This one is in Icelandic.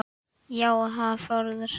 Og já, hann á föður.